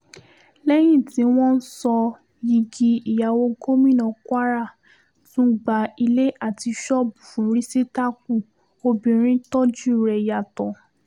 lẹ́yìn tí wọ́n wọ́n sọ yigi ìyàwó gómìnà kwara tún gba ilé àti ṣọ́ọ̀bù fún rísítákù obìnrin tọ́jú rẹ̀ yàtọ̀